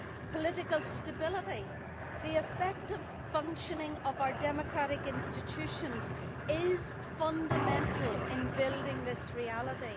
Political stability, the effective functioning of our democratic institutions, is fundamental in building this reality.